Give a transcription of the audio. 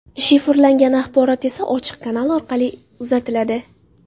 Shifrlangan axborot esa ochiq kanal orqali uzatiladi.